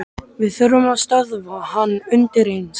Við þurfum að stöðva hann undireins.